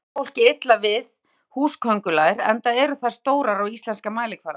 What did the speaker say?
yfirleitt líkar fólki illa við húsaköngulær enda eru þær stórar á íslenskan mælikvarða